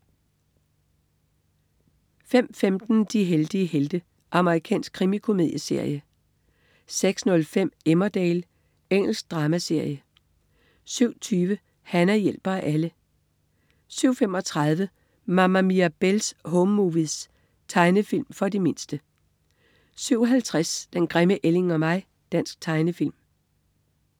05.15 De heldige helte. Amerikansk krimikomedieserie 06.05 Emmerdale. Engelsk dramaserie 07.20 Hana hjælper alle 07.35 Mama Mirabelle's Home Movies. Tegnefilm for de mindste 07.50 Den grimme ælling og mig. Dansk tegnefilm